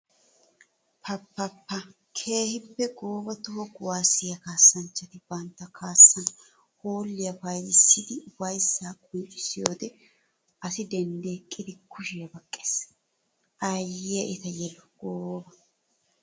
Pa pa pa! Keehippe gooba toho kuwasiya kaassanchchatti bantta kaassan hoolliya payddissiddi ufayssa qonccissiyode asaa denddi eqqiddi kushiya baqqes. Aayiya etta yelu gooba!